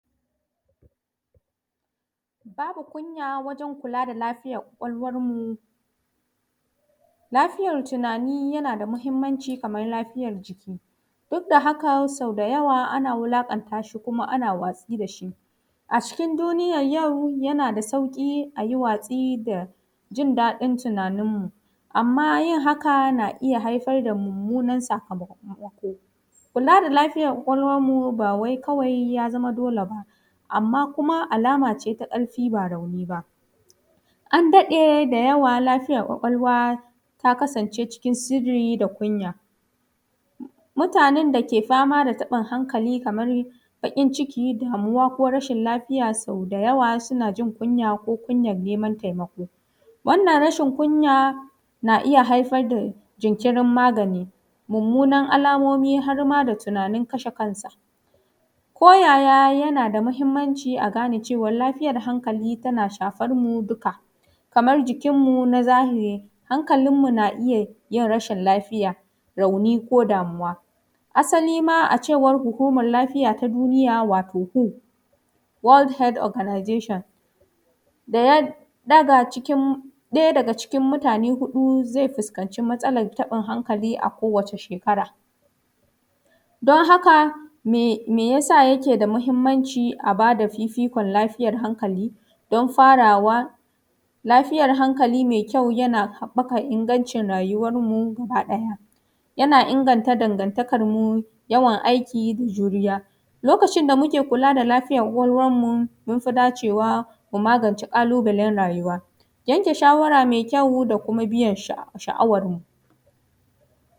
Babu kunya wajen kula da kwakwalwanmu, tallafin al’umma ga lafiyar tunani yana nufin tsarin taimako da al’umma ke bayarwa dan tallafawa wanda ke fama da matsalolin lafiyar tunani kaman damuwa rashin kwanciyan hankali da sauran matsalolin hankali, wannan yana nufin samar da wani yanayi mai kyau da ilmantarwa da tallafi ga waɗanda ke buƙatar taimako na musamman. a wannan fannin mahimmancin tallafi ga lafiyar tunani a al’umma na ɗaya ƙarfafawa ilmantarwa da wayar da kan al’umma, na biyu shirye-shiryen taimako da tattaunawa, na uku ƙirƙiran tsarin tallafin kuɗi da abinci, na huɗu taimako ga matasan al’umma, na biyar horar da ƙungiyan goyan baya da masu bada taimako, na shida ƙarfafa gwiwa, goyan bayan iyaye da makaranta, na bakwai samar da tsare-tsaren taimako na gaggawa, na takwas ayyukan gida da kula da lafiya. Sai kuma fa’idojin tallafi ga lafiyar tunani ga al’umma, ƙara kwarewa da fahimta yana taimakawa al’umma fahimtar mahimmancin lafiyar tunani da gujewan kyaman wanda ke fama da matsalolin hankali, inganta lafiyar jama’a taimakon lafiyar tunani yana inganta lafiyar gabaɗaya na al’umma ta hanyar rage yawan matsalolin tunani da cututtuka ƙarfafa bayan goyan bayan ƙungiya. Taimakon al’umma yana ƙarfafa haɗin kai da goyon baya tsakanin al’umma da masu ba da kulawa, samun damar magani yana bada damar samun magani da kulawa ga wanda ke fama da matsalolin. A ƙarshe shirin tallafin lafiyar tunani yana taimakawa wajen samar da al’umma mai lafiya da hadin kai ta hanyar samar da goyan baya, ilimi da tallafi ga al’umma na iya rage kyamar da matsalolin lafiyar tunani ke haifarwa da kuma samar da damar magani da kulawa ga wanda ke bu ƙata, yanke shawara da kuma biyan buƙatanmu.